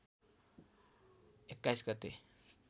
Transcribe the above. २१ गते